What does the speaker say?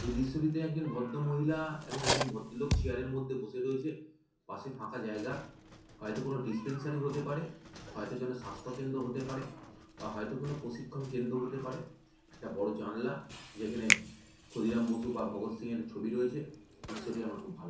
এই দৃশ্যটিতে একজন ভদ্দ মহিলা এবং একজন ভদ্দ লোক চিয়ার এর মধ্যে বসে রয়েছে পাশে ফাঁকা জায়গা হয়তো কেনো ডিস্পেন্সারি হতে পারে হয়তো কোনো স্বাস্থ্য কেন্দ্র হতে পারে বা হয়তো কোনো প্রশিক্ষণ কেন্দ্র হতে পারে একটা বড়ো জানলা যেখানে ক্ষুদিরাম বসু বা ভগৎ সিংএর ছবি রয়েছে দৃশ্যটি আমার খুব ভালো লেগেছে।